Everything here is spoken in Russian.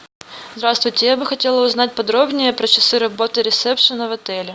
здравствуйте я бы хотела узнать подробнее про часы работы ресепшена в отеле